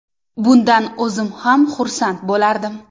Bundan o‘zim ham xursand bo‘lardim.